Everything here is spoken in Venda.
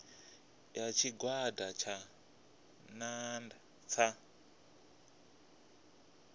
ya tshigwada tsha nnda sa